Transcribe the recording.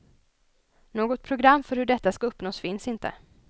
Något program för hur detta skall uppnås finns inte.